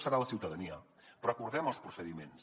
serà la ciutadania però acordem els procediments